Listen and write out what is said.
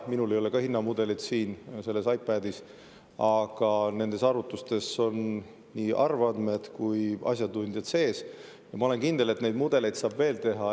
Minul ei ole ka siin selles iPadis hinnamudelit, aga nendes arvutustes on nii arvandmed kui ka asjatundjate sees, ja ma olen kindel, et neid mudeleid saab veel teha.